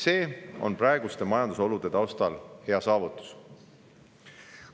See on praeguste majandusolude taustal hea saavutus.